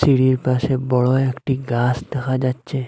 সিঁড়ির পাশে বড়ো একটি গাস দেখা যাচ্ছে।